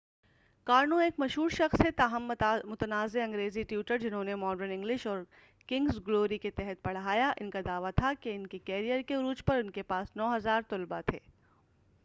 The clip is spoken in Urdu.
کارنو ایک مشہور شخص ہیں تاہم متنازع انگریزی ٹیوٹر جنھوں نے ماڈرن انگلش اور کنگس گلوری کے تحت پڑھایا ان کا دعوی تھا کہ ان کے کیرئر کے عروج پر ان کے پاس 9000 طلباء تھے